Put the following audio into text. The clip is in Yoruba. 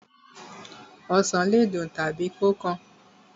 Osàn le dùn tàbí kó kan.